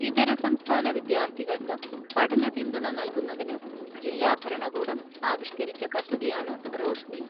ഇതര സംസ്ഥാന വിദ്യാർത്ഥികൾക്ക് പഠന പിന്തുണ നൽകുന്നതിന് ജില്ലാഭരണകൂടം ആവിഷ്ക്കരിച്ച പദ്ധതിയാണ് റോഷ്നി.